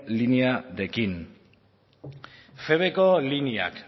linearekin ko lineak